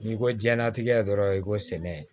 N'i ko jiyɛnlatigɛ dɔrɔn i ko sɛnɛ